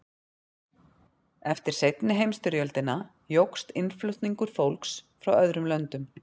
eftir seinni heimsstyrjöldina jókst innflutningur fólks frá öðrum löndum